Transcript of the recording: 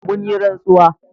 mun yi rantsuwa